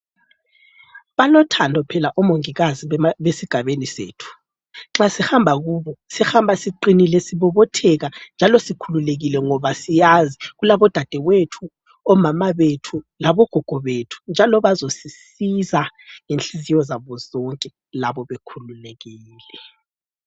Balothando phela omongikazi besigabeni sethu. Nxa sihamba kubo sihamba siqinile sibobotheka njalo sikhululekile ngoba siyazi kulabodadewethu, omama bethu, labogogo bethu, njalo bazosisiza ngenhliziyo zabo zonke labo bekhululekile.